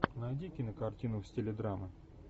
найди кинокартину в стиле драмы